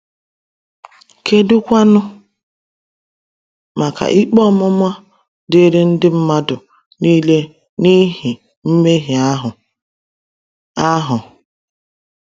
Kedụkwanụ maka ikpe ọmụma dịịrị ndị mmadụ niile n’ihi mmehie ahụ? ahụ?